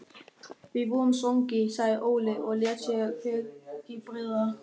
Við vorum svangir, sagði Óli og lét sér hvergi bregða.